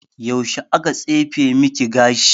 Yaushe aka tsefe maki gashi?